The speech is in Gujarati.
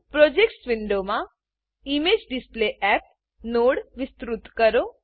પ્રોજેક્ટ્સ પ્રોજેક્ટ્સ વિન્ડોમાં ઇમેજેડિસપ્લેયપ ઈમેજડિસ્પ્લેએપ નોડ વિસ્તૃત કરો